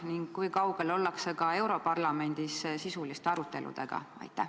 Ning kui kaugel ollakse europarlamendis sisuliste aruteludega?